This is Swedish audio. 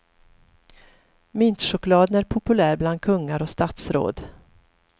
Mintchokladen är populär bland kungar och statsråd.